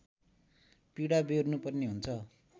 पीडा व्यहोर्नु पर्ने हुन्छ